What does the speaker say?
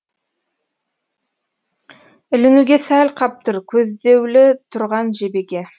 ілінуге сәл қап тұр көздеулі тұрған жебеге